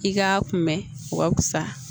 I k'a kunbɛn o ka fisa